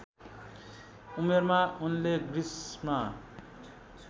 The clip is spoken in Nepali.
उमेरमा उनले ग्रिसमा